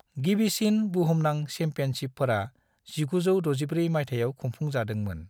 गिबिसिन बुहुमनां चेम्पियनशिपफोरा 1964 मायथायाव खुंफुं जादोंमोन।